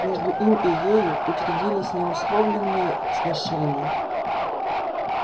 между им и ею учредились неусловленные сношения